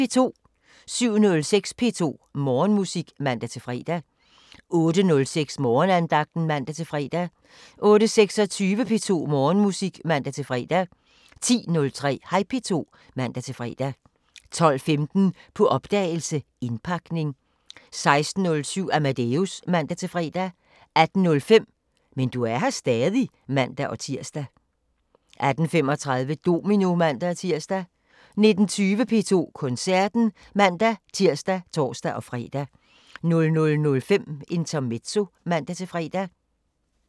07:06: P2 Morgenmusik (man-fre) 08:06: Morgenandagten (man-fre) 08:26: P2 Morgenmusik (man-fre) 10:03: Hej P2 (man-fre) 12:15: På opdagelse – Indpakning 16:07: Amadeus (man-fre) 18:05: Men du er her stadig (man-tir) 18:35: Domino (man-tir) 19:20: P2 Koncerten (man-tir og tor-fre) 00:05: Intermezzo (man-fre)